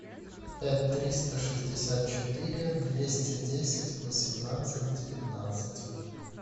пять триста шестьдесят четыре двести десять восемнадцать девятнадцать